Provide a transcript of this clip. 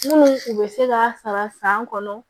Minnu u bɛ se k'a sara san kɔnɔ